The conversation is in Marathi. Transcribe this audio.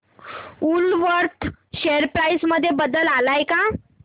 वूलवर्थ शेअर प्राइस मध्ये बदल आलाय का